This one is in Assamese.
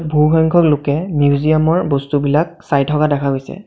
বহুসংখ্যক লোকে মিউজিয়াম ৰ বস্তুবিলাক চাই থকা দেখা গৈছে।